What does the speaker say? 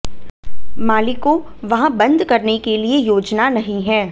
मालिकों वहाँ बंद करने के लिए योजना नहीं है